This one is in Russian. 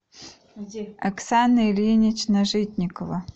оксана ильинична житникова